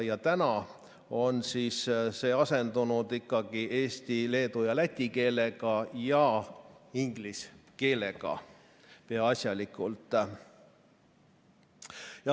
Nüüd on see asendunud ikkagi eesti, leedu ja läti keelega ning inglise keelega peaasjalikult.